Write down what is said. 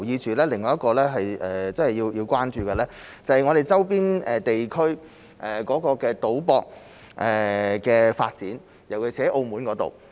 此外，我們也要關注的是，我們周邊地區的賭博行業的發展，尤其是澳門。